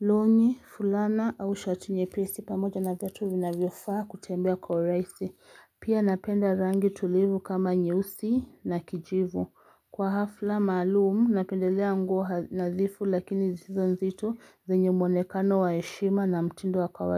longi fulana au shati nyepesi pamoja na viatu vinavyofaa kutembea kwa urahisi Pia napenda rangi tulivu kama nyeusi na kijivu kwa hafla maalumu napendelea nguo nadhifu lakini zisizo nzito zenye mwonekano wa heshima na mtindo wa kawaidi.